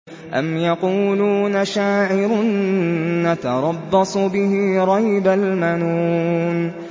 أَمْ يَقُولُونَ شَاعِرٌ نَّتَرَبَّصُ بِهِ رَيْبَ الْمَنُونِ